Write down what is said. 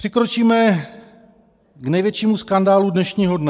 Přikročíme k největšímu skandálu dnešního dne.